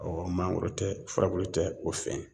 Ɔɔ mangoro tɛ furabulu tɛ o fɛn ye